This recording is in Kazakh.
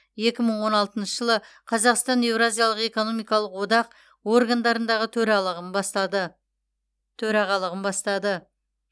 екі мың он алтыншы жылы қазақстан еуразиялық экономикалық одақ органдарындағы төралығын бастады төрағалығын бастады